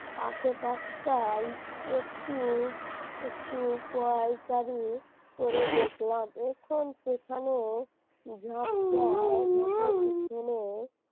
আশেপাশটাই একটু একটু পাইচারি করে দেখলাম এখন সেখানে ঝোপঝাড় ঝোপের পেছনে